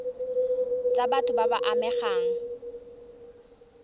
tsa batho ba ba amegang